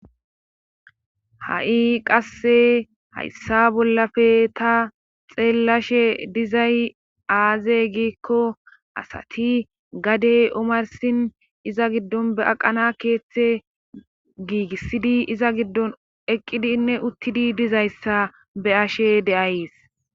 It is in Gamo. ha7i qasse hayssa bollafe ta xeellashe dizay aaze giikko asati gadey omarsin iza giddon be aqana keeththe giigissidi iza giddon eqqidinne uttidi dizayssa be ashe deays